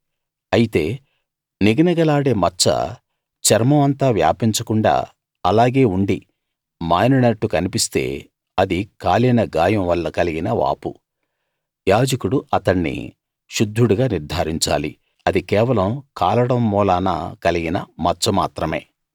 అయితే నిగనిగలాడే మచ్చ చర్మం అంతా వ్యాపించకుండా అలాగే ఉండి మానినట్టు కన్పిస్తే అది కాలిన గాయం వల్ల కలిగిన వాపు యాజకుడు అతణ్ణి శుద్ధుడుగా నిర్థారించాలి అది కేవలం కాలడం మూలాన కలిగిన మచ్చ మాత్రమే